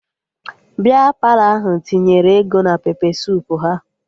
Bịa Palọ ahụ tinyere ego na pepe suup ha